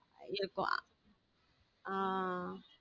அது எப்போ ஹம்